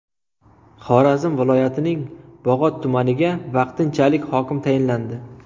Xorazm viloyatining Bog‘ot tumaniga vaqtinchalik hokim tayinlandi.